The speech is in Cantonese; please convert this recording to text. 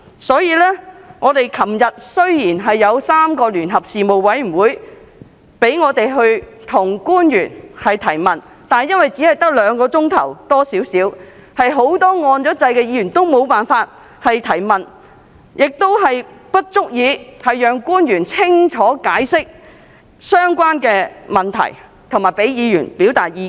雖然昨天3個事務委員會舉行了一次聯席會議，讓議員向官員提問，但由於會議時間只有約兩小時，因此很多按下"要求發言"按鈕的議員皆未能提問，而時間亦不足以讓官員清楚解釋相關問題，以及讓議員表達意見。